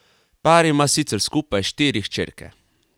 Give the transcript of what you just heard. Par ima sicer skupaj štiri hčerke.